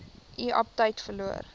u aptyt verloor